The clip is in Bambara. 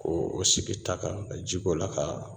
K'o o sigi ta kan ka ji k'o la ka